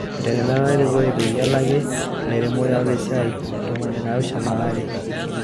Eteretena erikore peyie elaaki ilairemok tiatu isaai ntomoni naapishana o aare.